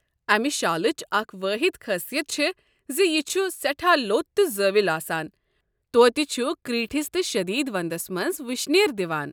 امہِ شالٕچ اکھ وٲحد خٲصیتھ چھےٚ زِ یہِ چھ سٮ۪ٹھاہ لوٚت تہٕ زٲویُل آسان، توتہِ چھُ کریٖٹھس تہٕ شدیٖد ونٛدس منٛز وٕشنیر دِوان۔